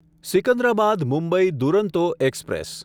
Secunderabad Mumbai Duronto express